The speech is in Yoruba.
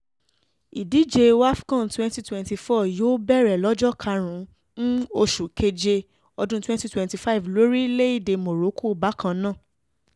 ìdíje wafcon twenty twenty four yóò bẹ̀rẹ̀ lọ́jọ́ kárùn ún oṣù keje ọdún twenty twenty five lórílẹ̀‐èdè morocco bákan náà